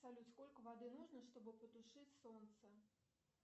салют сколько воды нужно чтобы потушить солнце